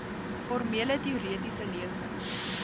formele teoretiese lesings